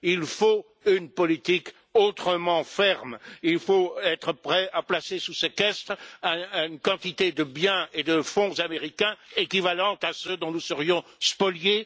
Il faut une politique autrement plus ferme et il faut être prêt à placer sous séquestre une quantité de biens et de fonds américains équivalente à ceux dont nous serions spoliés.